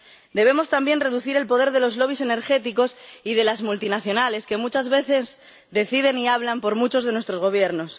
Debemos también reducir el poder de los lobbies energéticos y de las multinacionales que, muchas veces, deciden y hablan por muchos de nuestros gobiernos.